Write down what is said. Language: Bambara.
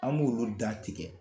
An b'olu da tigɛ